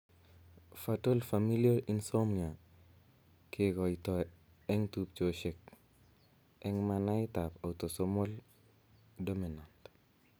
Fatal familial insomnia kekoitoo eng' tubchosiek eng' manait ab autosomal dominat